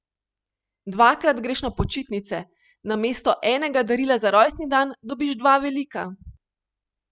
Dvakrat greš na počitnice, namesto enega darila za rojstni dan, dobiš dva velika.